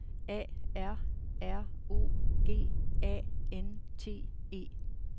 A R R O G A N T E